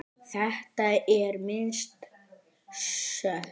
Þetta er minnst sök.